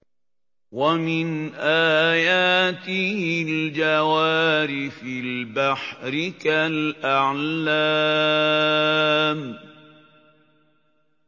وَمِنْ آيَاتِهِ الْجَوَارِ فِي الْبَحْرِ كَالْأَعْلَامِ